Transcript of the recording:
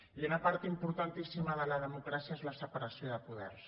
i una part importantíssima de la democràcia és la separació de poders